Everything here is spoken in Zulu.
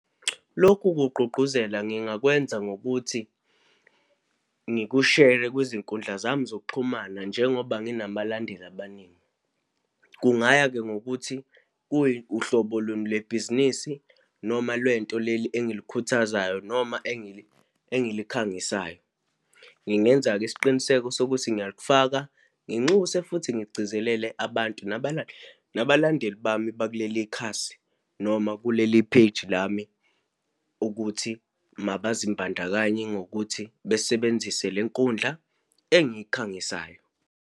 Lokhu kugqugquzela ngingakwenza ngokuthi ngikushere kwizinkundla zami zokuxhumana, njengoba nginabalandeli abaningi. Kungaya-ke ngokuthi kuyi uhlobo luni lebhizinisi noma lwento leli engilikhuthazayo noma engilikhangisayo. Ngingenza-ke isiqiniseko sokuthi ngiyakufaka, nginxuse futhi ngigcizelele abantu nabalandeli bami bakulelikhasi noma kuleli-page lami, ukuthi mabazimbandakanye ngokuthi besebenzise lenkundla engiyikhangisayo.